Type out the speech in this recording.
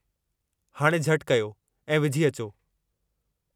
हाणे झटि कयो ऐं विझी अचो।